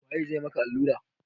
Waye zai maka allura?